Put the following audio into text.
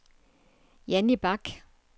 Jannie Bach